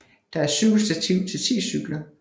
Der er cykelstativ til ti cykler